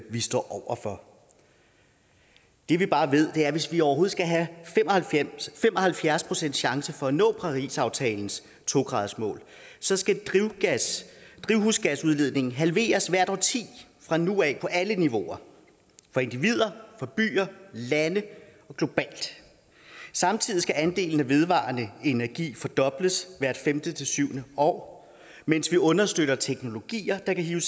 vi står over for det vi bare ved er at hvis vi overhovedet skal have fem og halvfjerds procent chance for at nå parisaftalens to gradersmål så skal drivhusgasudledningen halveres hvert årti fra nu af på alle niveauer for individer byer lande og globalt samtidig skal andelen af vedvarende energi fordobles hvert femte til syvende år mens vi understøtter teknologier der kan hive